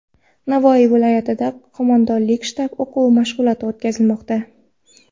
Navoiy viloyatida qo‘mondonlik-shtab o‘quv mashg‘uloti o‘tkazilmoqda.